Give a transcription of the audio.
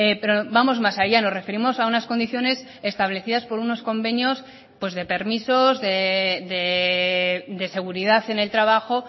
pero vamos más allá nos referimos a unas condiciones establecidas por unos convenios pues de permisos de seguridad en el trabajo